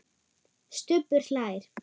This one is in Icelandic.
Stubbur hlær.